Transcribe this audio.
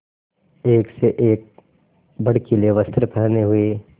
एक से एक भड़कीले वस्त्र पहने हुए